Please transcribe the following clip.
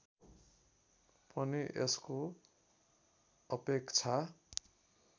पनि यसको अपेक्षा